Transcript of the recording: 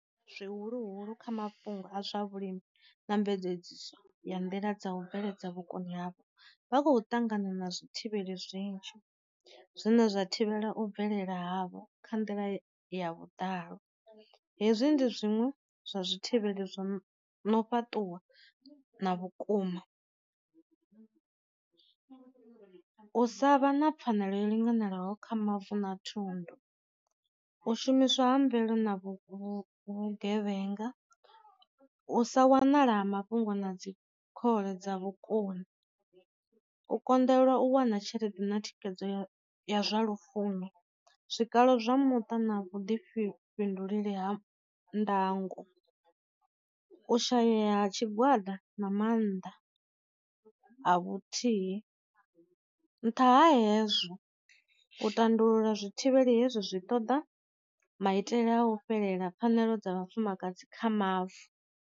Zwi huluhulu kha mafhungo a zwa vhulimi ndambedzisiso ya nḓila dza u bveledza vhokoni havho, vha khou ṱangana na zwi thivheli zwinzhi zwine zwa thivhela u bvelela havho kha nḓila ya vhudalo hezwi ndi zwiṅwe zwa zwi thivhele zwo na u fhaṱuwa na vhukuma. U sa vha na pfanelo yo linganelaho kha mavu na thundu, u shumiswa ha mvelelo na vhu vhu vhu gevhenga, u sa wanala ha mafhungo na dzi khole dza vhukoni, u konḓelwa u wana tshelede na thikhedzo ya zwa lufuno, zwikalo zwa muṱa na vhu ḓifhinduleli ha ndango, u shayeya ha tshigwada na maanḓa a vhuthihi. Nṱha ha hezwo u tandulula zwi thivheli hezwi zwi ṱoḓa maitele a u fhelela pfhanelo dza vhafumakadzi kha mavu.